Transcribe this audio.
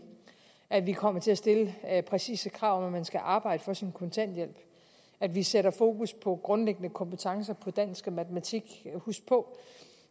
at vi kommer til at stille præcise krav om at man skal arbejde for sin kontanthjælp at vi sætter fokus på grundlæggende kompetencer på dansk og matematik husk på at